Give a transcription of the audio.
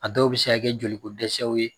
A dɔw bɛ se ka kɛ joli ko dɛsɛw ye